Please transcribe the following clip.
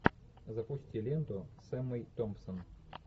запусти ленту с эммой томпсон